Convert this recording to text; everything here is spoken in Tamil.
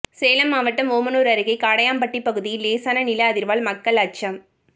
சேலம் மாவட்டம் ஓமனூர் அருகே காடையாம்பட்டி பகுதியில் லேசான நில அதிர்வால் மக்கள் அச்சம்